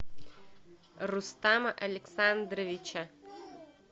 рустама александровича